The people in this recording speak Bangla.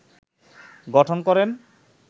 গঠন করেন